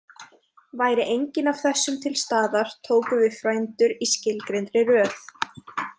Væri enginn af þessum til staðar tóku við frændur í skilgreindri röð.